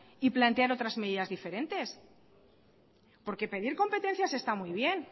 y plantear otras medidas diferentes porque pedir competencias está muy bien